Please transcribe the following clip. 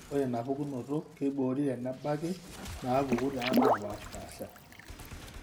Ore inapukunoto keiboori tenebaki inaapuku naapaashipaasha.